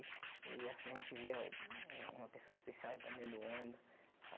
E assim a gente via um uma pessoa especial entrando dentro do ônibus.